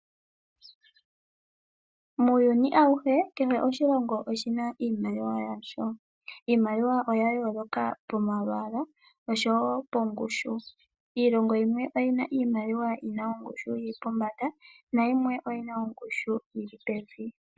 Muuyuni awuhe kehe oshilongo oshina iimaliwa yasho. Iimaliwa oya yoloka pomalwaala oshowo pongushu. Iilongo yimwe oyina iimaliwa yina ongushu yili pombanda. Nayimwe oyi na ongushu yili pevi.